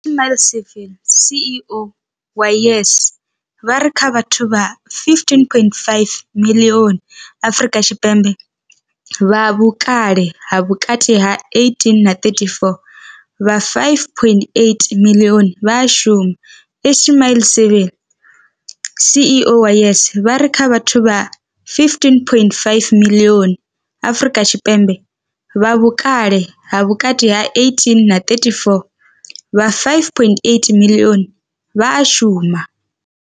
Ismail-Saville CEO wa YES, vha ri kha vhathu vha 15.5 miḽioni Afrika Tshipembe vha vhukale ha vhukati ha 18 na 34, vha 5.8 miḽioni a vha a shuma. Ismail-Saville CEO wa YES, vha ri kha vhathu vha 15.5 miḽioni Afrika Tshipembe vha vhukale ha vhukati ha 18 na 34, vha 5.8 miḽioni a vha a shuma.